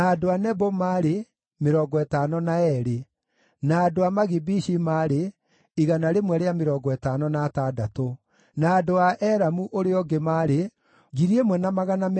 Nao aikaria a ihingo cia hekarũ, arĩa maarĩ a njiaro cia Shalumu, na cia Ateri, na cia Talimoni, na cia Akubu, na cia Hatita, na cia Shobai, othe maarĩ 139.